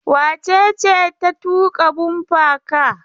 Wace ce ta tuƙa bumper car?